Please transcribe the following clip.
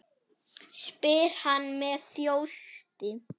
spyr hann með þjósti.